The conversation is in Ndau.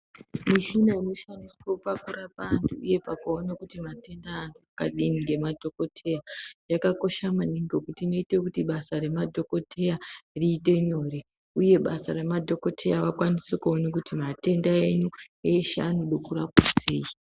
Mishina ino shandiswe paku rapa antu uye paku ona kuti matenda e anhu akadii nge madhokoteya yakakosha maningi ngekuti inoite kuti basa re madhokoteya riite nyore uye basa re madhokoteya vakwanise kuone kuti matenda enyu eshe anode kurapwa sei.